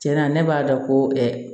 Tiɲɛna ne b'a dɔn ko